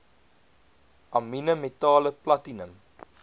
amiene metale platinum